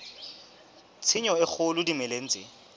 tshenyo e kgolo dimeleng tse